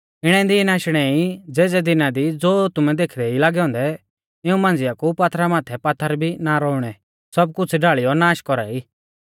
इणै दीन आशणै ई ज़ेज़ै दिना दी ज़ो तुमै देखदै ई लागै औन्दै इऊं मांझ़िया कु पात्थरा माथै पात्थर भी ना रौउणै सब कुछ़ ढाल़ीयौ नाष कौरा ई